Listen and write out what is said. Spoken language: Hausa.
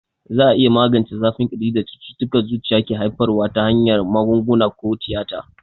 Za a iya magance zafin ƙirjin da cututtukan zuciya ke haifarwa ta hanyar magunguna ko tiyata.